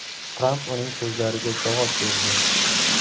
Tramp uning so‘zlariga javob berdi.